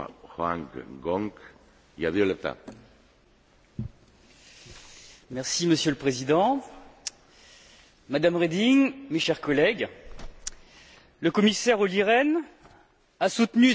Monsieur le Président, Madame Reding, chers collègues, le commissaire Olli Rehn a soutenu dans la presse que les politiques de consolidation budgétaire produisaient des effets bénéfiques.